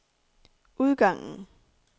udgangen